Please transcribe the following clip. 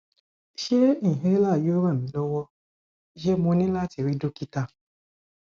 ṣé inhaler yóò ran mi lọwọ ṣé mo ní láti rí dókítà